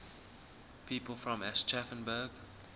people from aschaffenburg